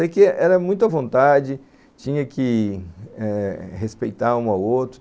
Sei que era muito à vontade, tinha que respeitar eh um ao outro.